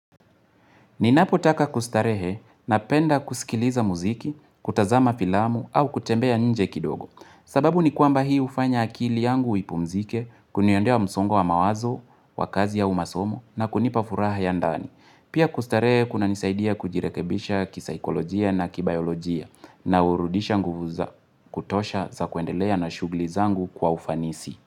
Ninapotaka kustarehe napenda kusikiliza muziki, kutazama filamu au kutembea nje kidogo. Sababu ni kwamba hii hufanya akili yangu ipumzike, kuniondoa msongo wa mawazo, wa kazi au masomo na kunipa furaha ya ndani. Pia kustarehe kuna nisaidia kujirekebisha kisaikolojia na kibayolojia na hurudisha nguvu za kutosha za kuendelea na shughuli zangu kwa ufanisi.